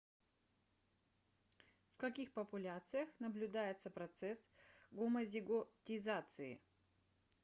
в каких популяциях наблюдается процесс гомозиготизации